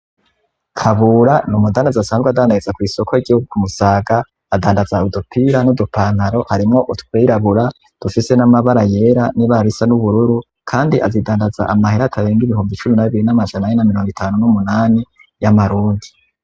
Kabura ni umudandaza asanzwe adandaza ku isoko ry'igihugu kumusaga adandaza udupira n'udupantaro harimwo utwirabura dufise n'amabara yera n'ibara risa n'ubururu kandi azidandaza amahere akarenga ibihumbi cumi nabiri n'amajani ane na miringo itanu n'umunani y'amarundi.